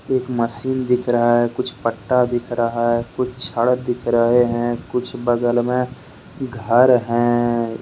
एक मशीन दिख रहा है कुछ पट्टा दिख रहा है कुछ छड़ दिख रहे हैं कुछ बगल में घर हैं।